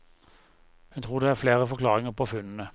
Hun tror det er flere forklaringer på funnene.